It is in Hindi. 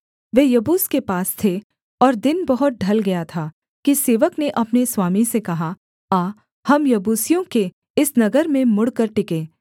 वे यबूस के पास थे और दिन बहुत ढल गया था कि सेवक ने अपने स्वामी से कहा आ हम यबूसियों के इस नगर में मुड़कर टिकें